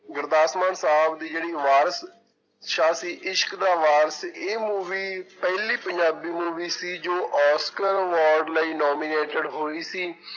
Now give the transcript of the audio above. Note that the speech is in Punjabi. ਗੁਰਦਾਸਮਾਨ ਸਾਹਬ ਦੀ ਜਿਹੜੀ ਵਾਰਿਸ ਸ਼ਾਹ ਸੀ ਇਸ਼ਕ ਦਾ ਵਾਰਿਸ ਇਹ movie ਪਹਿਲੀ ਪੰਜਾਬੀ movie ਸੀ ਜੋ ਆਸਕਰ award ਲਈ nominated ਹੋਈ ਸੀ।